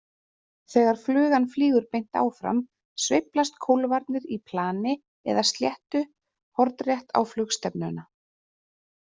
Þegar flugan flýgur beint áfram sveiflast kólfarnir í plani eða sléttu hornrétt á flugstefnuna.